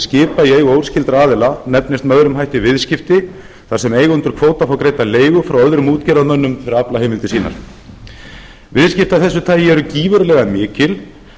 skipa í eigu óskyldra aðila nefnist með öðrum hætti viðskipti þar sem eigendur kvóta fá greidda leigu frá öðrum útgerðarmönnum fyrir aflaheimildir sínar viðskipti af þessu tagi eru gífurlega mikil